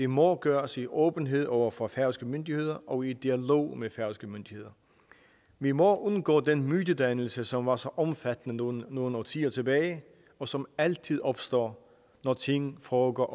må gøres i åbenhed over for færøske myndigheder og i dialog med færøske myndigheder vi må undgå den mytedannelse som var så omfattende nogle nogle årtier tilbage og som altid opstår når ting foregår